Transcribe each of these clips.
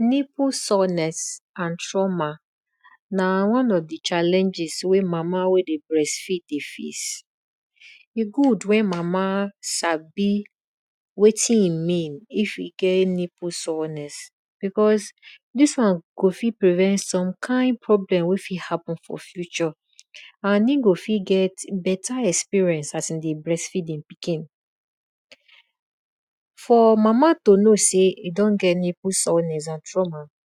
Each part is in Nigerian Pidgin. Nipple sourness and trauma na one of di challenges wey mama wey dey breast feed dey face. E good mek mama sabi wetin e mean wen you get nipple sourness because di won go fit prevent some kind illness wey fit happen for future and e go fit get beta experience as e dey breast feed e pikin. For mama to know sey e don get nipple sourness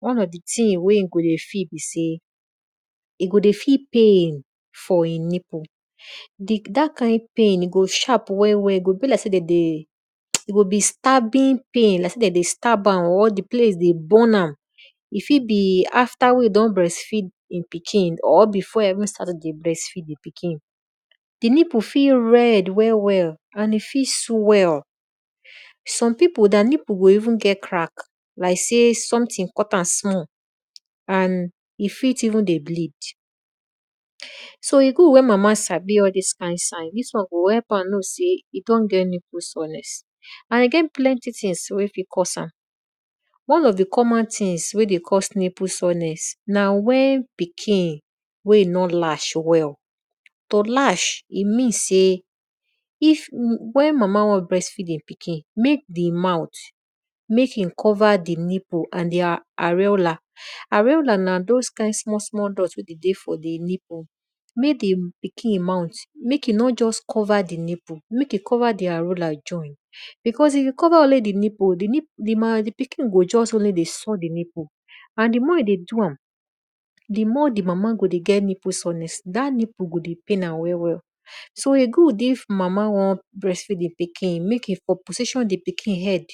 one of di thing e go dey feel be say e go dey feel pain for e nipple, dat kind pain e go dey sharp well well e go dey be like sey de dey stab am or di place dey burn am e fit be after e don breast feed di pikin or wen besey e dey breast feed di pikin. Di nipple fit red well welland e fit swell. some pipu their nipple go even get crack like sey something cut am small and e fit even dey bleed. So e good mek mama sabi all dis sign dis won go help am know sey e don get nipple sourness. And e get plenty things wey fit cause am and one of di thing wey dey cause am na wen pikin wen e nor lash well. To lash e means sey wen mama won breast feed e pikin, e meansey mek di mouth mek e cover ddi nipple and their ariela. Ariela na thoe small small dot wey de dey for di nipple. Mek di pikin muth mek e nor just cover di nipple mek cover di ariela join because if e cover only di nipple, di pikin go just dey source di nippleand di more e dey doam, di more di mama go dey get nippl sourness dat nipple go dey poain am. So e good if mama won breast feed e pikin mek e dey position di pikin head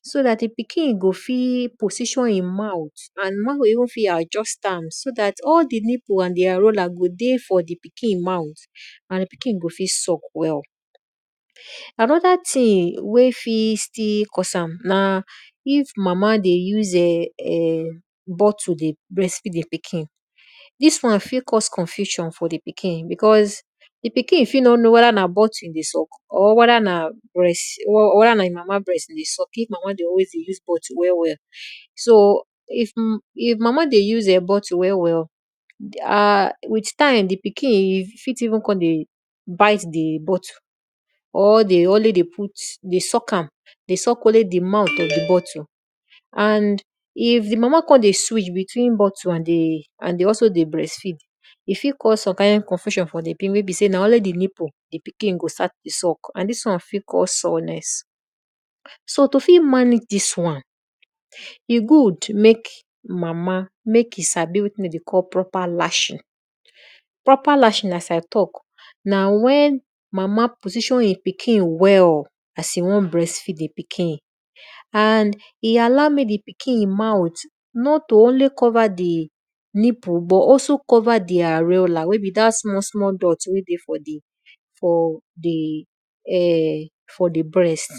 so dat di pikin go fit position e mouth and e mama go fit adjust am so dat all di nipple and di ariola go dey for di pikin mouth. And di piking go fit suck well. Anoda thing wey fit cause am na if mama dey use[um]bottle dey breast feed e pikin di won fit cause confusion for di pikin bcause di pikin fit nor know which one e dey suck weda na ottle o or weda na breast, or weda na e mama breast e deysuck bcausee mama dey use bottle well well. So if mama dey use bottle well well, with time di pikin fit kon dey bit di bottle or dey always dey put dey suck am, dey suck only di mouth of di bottle. And if di mama kon dey switch between bottle and breast, e go cause confusion wey be sey na only nipple na in di pikin is to dey suck and dis won fit cause sourness. So to fit manage dis wan, e good mek mama mek e sabi wetin de dey call proper lashing.proper lashing as I talk na mama e allow mek di pikin mouth not to only cover di nipple but to also cover di ariela smallsmall dot wey dey for di bbreast.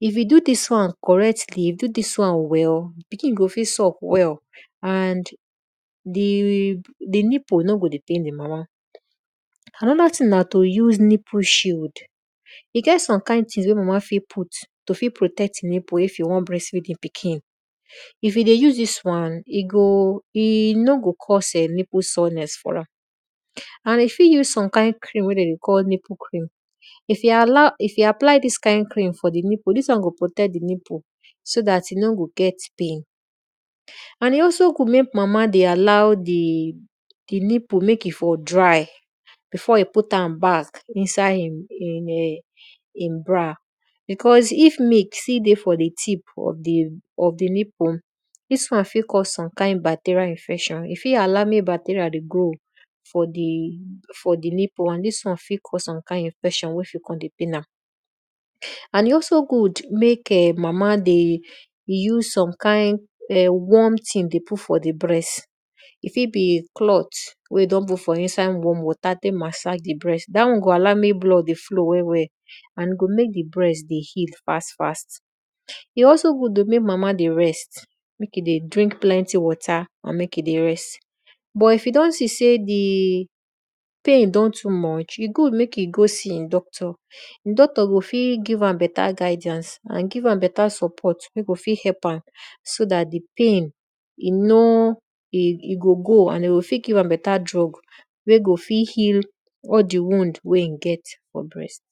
If you do dis won correctly you dodiswon well, pikin go fit suck well. And di nipple nor go dey pain di mama. Anoda thing na to use nipple shield e get some kind things wey mama fit put to tek protect e nipple to tek breastfeed e pikin. If you dey use dis wan, e no go cause nipple sourness and you fit use some kind cream wey de dey call nipple cream if e allow dis kind cream for di nipple, dis won go protect di nipple so dat e no go get pain.and e also good mekmama dey allow di nipple mek e for dry before e put am back for inside di bra because if milk still dey for di tipoff di nipple, dis won fit cause some kind bacterial infection e fit allow mek bacterial dey grow for di nipple and dis won fit cause some kind infection wey go mek di nipple dey pain am. And e also good mek[um]mama dey use[um]warm things to put for di breast e fit be cloth wey don put for inside water mek e tek massage di breast dat won go allow mek blood dey flow well and go allow di blood hip fast fast e also good oh mama dey rest and mek e dey drink plenty water but if you don see sey di pain don too much, e go mek e be sey e go seey di doctor di doctor go fit give guidiance, and give am beta support wey go fit help am so dat di pain e go go so dat di pain go go and de go fit give am beta drugs wey go fit heal all di wound wey e get for breast.